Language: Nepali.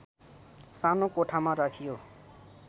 सानो कोठामा राखियो